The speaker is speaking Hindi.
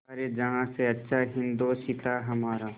सारे जहाँ से अच्छा हिन्दोसिताँ हमारा